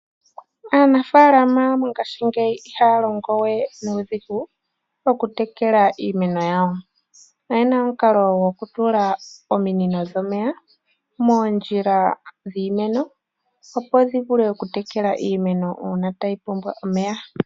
Aanafaalama mongashingeya ihaya longo we nuudhigu okutekela iimeno yawo. Oyena omukalo gokutula ominino dhomeya moondjila dhiimeno opo dhivule oku tekela iimeno uuna tayi pumbwa omeya.